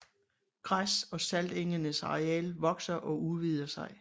Græs og saltengenes areal vokser og udvider sig